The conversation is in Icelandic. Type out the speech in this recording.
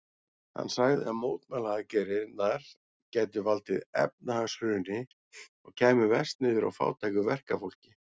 Hann sagði að mótmælaaðgerðirnar gætu valdið efnahagshruni og kæmu verst niður á fátæku verkafólki.